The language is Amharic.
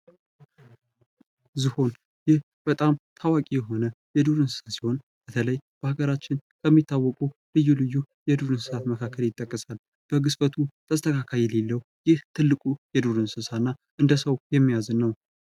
ዝሆን ይህ በጣም ታዋቂ የሆነ የዱር እንስሳ ሲሆን በተለይ በሀገራችን ከሚታወቁ ልዩ ልዩ የዱር፤፤ መካከል መካከል ተስተካካይነት የሌለው ይህ ትልቁ የዱር እንስሳ እና እንደ ሰው የሚያዝን ነው ።